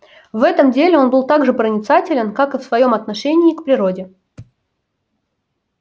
в этом деле он был так же проницателен как и в своём отношении к природе